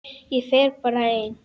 Ég fer bara ein.